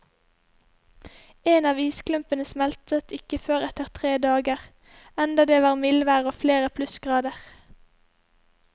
En av isklumpene smeltet ikke før etter tre dager, enda det var mildvær og flere plussgrader.